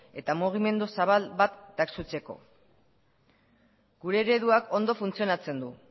eta mugimendu zabal bat gure ereduak ondo funtzionatzen du